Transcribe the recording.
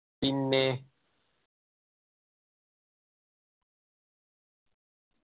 പിന്നേ